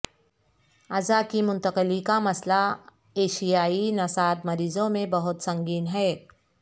اعضا کی منتقلی کا مسئلہ ایشیائی نژاد مریضوں میں بہت سنگین ہے